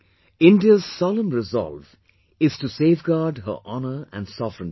India's solemn resolve is to safeguard her honour and sovereignty